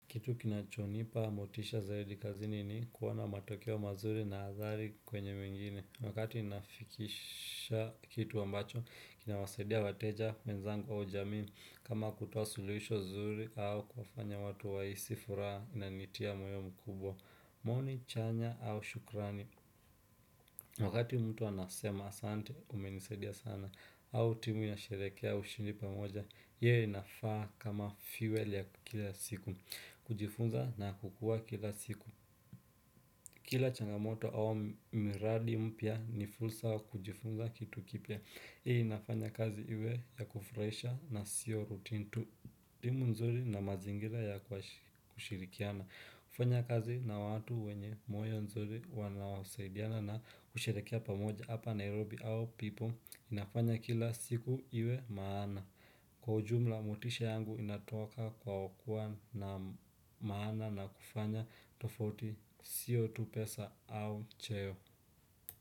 Kitu kinachonipa motisha zaidi kazini ni kuona matokeo mazuri na adhari kwenye mengine. Wakati nafikisha kitu ambacho, kinawasaidia wateja, wenzangu au jamii. Kama kutoa suluhisho zuri au kufanya watu wahisi furaha inanitia moyo mkubwa. Maoni chanya au shukrani. Wakati mtu anasema, asante umenisaidia sana. Au timu inasherekea ushindi pamoja. Hio inafaa kama fuel ya kila siku. Kujifunza na kukua kila siku. Kila changamoto au miradi mpya ni fursa wa kujifunza kitu kipya. Hii inafanya kazi iwe ya kufurahisha na sio routine tu. Timu nzuri na mazingira ya kushirikiana kufanya kazi na watu wenye moyo nzuri wanaosaidiana na kusherekea pamoja hapa Nairobi au people inafanya kila siku iwe maana. Kwa ujumla motisha yangu inatoka kwa kuwa na maana na kufanya tofauti sio tu pesa au cheo.